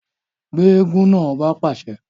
Gbe eégún náà! ọba pàṣẹ